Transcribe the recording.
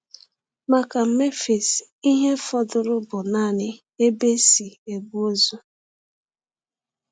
Maka Memphis, ihe fọdụrụ bụ naanị ebe e si ebu ozu.